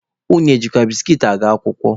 Unu ejikwa biskit aga akwụkwọ?